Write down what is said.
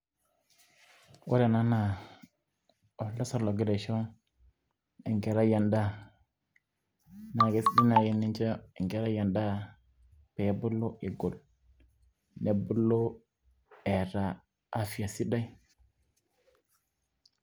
ore ena naa entasat nagira aisho enkerai edaa, naa keisidai naaji tenincho enkerai edaa pee ebulu, egol, nebulu eeta afya sidai.